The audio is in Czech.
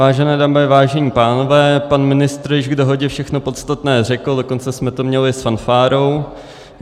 Vážené dámy, vážení pánové, pan ministr již k dohodě všechno podstatné řekl, dokonce jsme to měli s fanfárou.